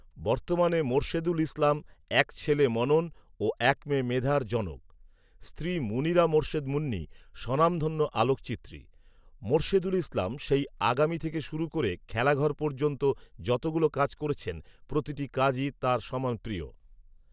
বর্তমানে মোরশেদুল ইসলাম এক ছেলে মনন ও এক মেয়ে মেধার জনক৷ স্ত্রী মুনিরা মোশের্দ মুন্নী সনামধন্য আলোকচিত্রী৷ মোরশেদুল ইসলাম সেই ‘আগামী’ থেকে শুরু করে ‘খেলাঘর’ পর্যন্ত যতগুলো কাজ করেছেন প্রতিটি কাজই তাঁর সমান প্রিয়